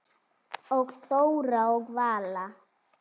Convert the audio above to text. Og Þóra og Vala?